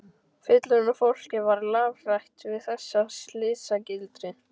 Fullorðna fólkið var lafhrætt við þessa slysagildru.